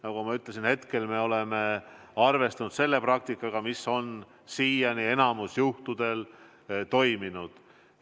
Nagu ma ütlesin, praegu me oleme arvestanud selle praktikaga, mis on siiani enamikul juhtudel toiminud.